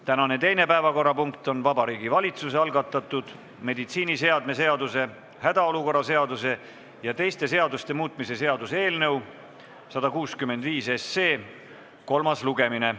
Tänane teine päevakorrapunkt on Vabariigi Valitsuse algatatud meditsiiniseadme seaduse, hädaolukorra seaduse ja teiste seaduste muutmise seaduse eelnõu 165 kolmas lugemine.